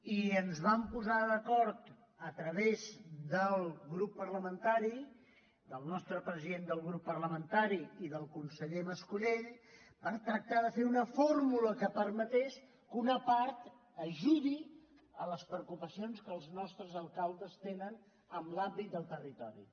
i ens vam posar d’acord a través del grup parlamentari del nostre president del grup parlamentari i del conseller mascolell per tractar de fer una fórmula que permetés que una part ajudi en les preocupacions que els nostres alcaldes tenen en l’àmbit del territori